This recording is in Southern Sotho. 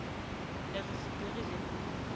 ne e fupere le ho